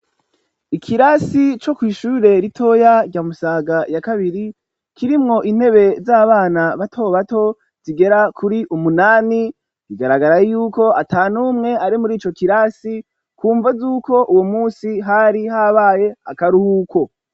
Ikirasi, co kw'ishure ritoya, rya Musaga ya kabiri, kirimwo intebe z'abana bato bato; zigera kuri umunani; bigaragara y'uko ata n'umwe ari muri ico kirasi, ku mvo z'uko uwo munsi, hari habaye akaruhuko.